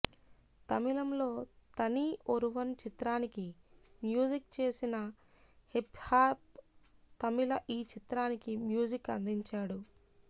తమిళంలో తని ఒరువన్ చిత్రానికి మ్యూజిక్ చేసిన హిప్హాప్ తమిళ ఈ చిత్రానికీ మ్యూజిక్ అందించాడు